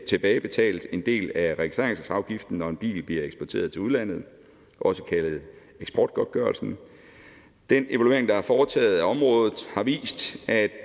tilbagebetalt en del af registreringsafgiften når en bil bliver eksporteret til udlandet også kaldet eksportgodtgørelsen den evaluering der er foretaget på området har vist at